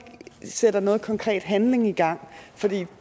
sætter nogen konkret handling i gang for det